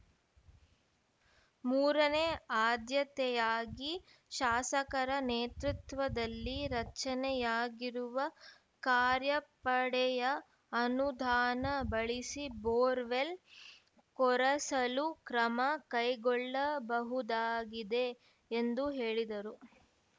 ಮೂರನೇ ಆದ್ಯತೆಯಾಗಿ ಶಾಸಕರ ನೇತೃತ್ವದಲ್ಲಿ ರಚನೆಯಾಗಿರುವ ಕಾರ್ಯಪಡೆಯ ಅನುದಾನ ಬಳಸಿ ಬೋರ್‌ವೆಲ್‌ ಕೊರೆಸಲು ಕ್ರಮ ಕೈಗೊಳ್ಳಬಹುದಾಗಿದೆ ಎಂದು ಹೇಳಿದರು